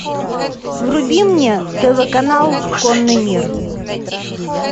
вруби мне тв канал конный мир